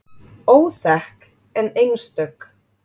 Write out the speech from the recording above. Óþekk en einstök.